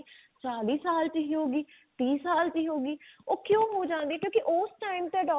ਚਾਲੀ ਸਾਲ ਚ ਹੀ ਹੋਗੀ ਤੀਹ ਸਾਲ ਦੀ ਹੋਗੀ ਉਹ ਕਿਉਂ ਹੋ ਜਾਂਦੀ ਕਿਉਂਕਿ ਉਸ time ਚ